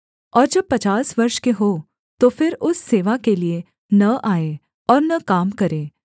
और जब पचास वर्ष के हों तो फिर उस सेवा के लिये न आए और न काम करें